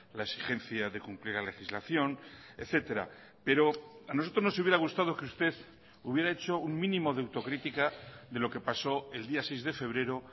la exigencia de cumplir la legislación etcétera pero a nosotros nos hubiera gustado que usted hubiera hecho un mínimo de autocrítica de lo que pasó el día seis de febrero